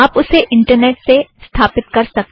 आप उसे इंटरनेट से स्थापिथ्त कर सकते हो